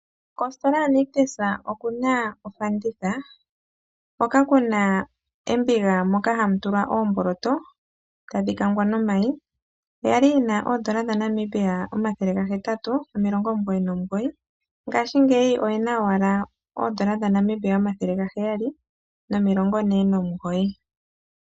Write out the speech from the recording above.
Kositola yaNictus okuna ofaanditha ,hoka kuna embiga moka hamu tulwa oomboloto tadhi kangwa nomayi yali yina N$899 ngaashingeyi oyina owala N$749